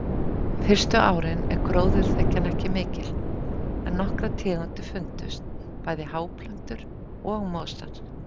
Fyrstu árin er gróðurþekjan ekki mikil en nokkrar tegundir fundust, bæði háplöntur og mosar.